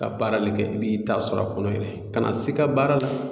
Ka baarali kɛ i b'i ta sɔrɔ a kɔnɔ yɛrɛ kana se i ka baara la.